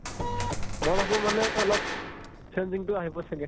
মই ভাবো মানে অলপ changing তো আহিব চাগে